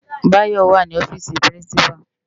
Bayo wá ni òfisi pirinsipá